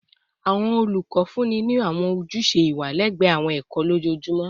Awọn olukọ funni ni awọn ojuse iwa lẹgbẹẹ awọn ẹkọ ẹkọ lojoojumọ